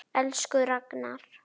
Elsku Ragnar.